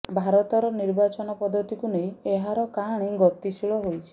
ଭାରତର ନିର୍ବାଚନ ପଦ୍ଧତିକୁ ନେଇ ଏହାର କାହାଣୀ ଗତିଶୀଳ ହୋଇଛି